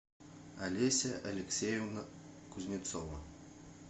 олеся алексеевна кузнецова